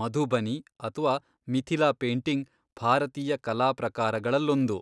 ಮಧುಬನಿ ಅಥ್ವಾ ಮಿಥಿಲಾ ಪೇಂಟಿಂಗ್ ಭಾರತೀಯ ಕಲಾ ಪ್ರಕಾರಗಳಲ್ಲೊಂದು.